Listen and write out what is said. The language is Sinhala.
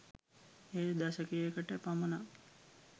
එය දශකයට පමණක්